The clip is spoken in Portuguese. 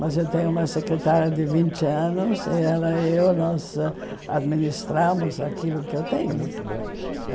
Mas eu tenho uma secretária de vinte anos e ela e eu, nós administramos aquilo que eu tenho.